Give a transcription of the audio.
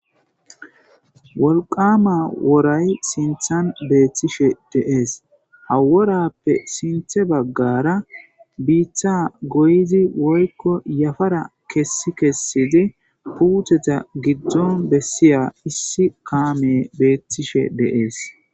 wolqama woray sinthan beettishe deees haworappe sinthe baggara biiththa goyizi woykko yafara kessi kessidi puutheta giddon bessiya issi kaame beettishe deees